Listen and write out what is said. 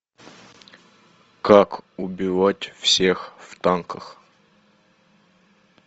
как убивать всех в танках